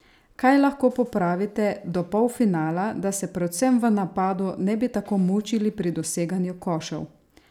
Kaj lahko popravite do polfinala, da se predvsem v napadu ne bi tako mučili pri doseganju košev?